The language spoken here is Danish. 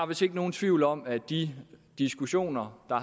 vist ikke nogen tvivl om at de diskussioner og